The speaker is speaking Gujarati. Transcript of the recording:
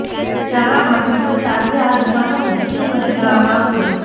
જાણવા મળ્યુ છે કે આજે આ દુકાનોને સીલ કરી દેવામાં આવશે